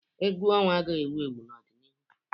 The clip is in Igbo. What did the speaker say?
Egwu ọnwa agaghị ewu ewu n'ọdịnihu.